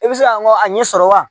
I bɛ se ka n kɔ a ɲɛ sɔrɔ wa